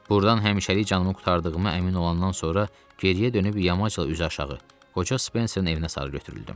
Burdan həmişəlik canımı qurtardığıma əmin olandan sonra geriyə dönüb yamacla üz aşağı qoca Spenserin evinə sarı götürüldüm.